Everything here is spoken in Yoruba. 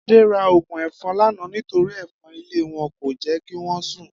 Adé ra ògùn èfo̩n lánàá nítorí è̩fo̩n ilé wo̩n kò jé̩ kí wó̩n sùn